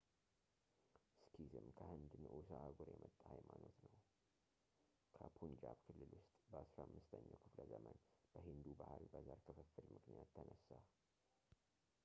ሲኪዝም ከህንድ ንዑስ አህጉር የመጣ ሃይማኖት ነው ከፑንጃብ ክልል ውስጥ በ15ኛው ክፍለ ዘመን በሂንዱ ባህል በዘር ክፍፍል ምክንያት ተነሳ